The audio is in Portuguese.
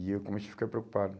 E eu comecei a ficar preocupado.